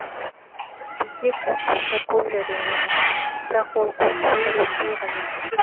бізде конкурстар көп жарияланады бірақ ол конкурстар өтпей қалады